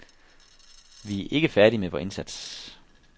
Vi er ikke færdige med vor indsats.